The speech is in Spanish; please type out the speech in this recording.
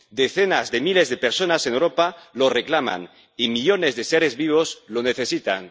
Decenas de miles de personas en Europa lo reclaman y millones de seres vivos lo necesitan.